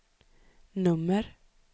nummer